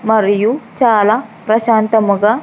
మరియు చాలా ప్రశాంతముగా.